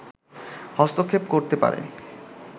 হস্তক্ষেপ করতে পারে